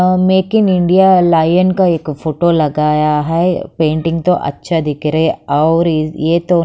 a make in India lion का एक photo लगाया है पेंटिंग तो अच्छा दिख रहा है और ये तो--